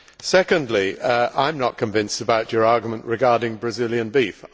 Secondly, I am not convinced about your argument regarding Brazilian beef.